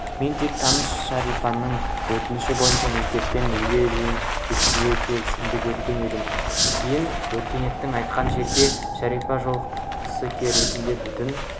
мен тек таныс шарипаның өтініші бойынша мектептен үйіне дейін жеткізуге келісімімді берген едім кейін өркенді айтқан жерге шарипа жолақысы ретінде бүтін